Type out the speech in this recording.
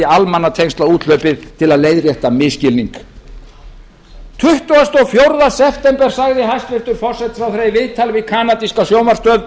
almannatengslaúthlaupið til að leiðrétta misskilning hinn tuttugasta og fjórða september sagði hæstvirtur forsætisráðherra í viðtali við kanadíska sjónvarpsstöð að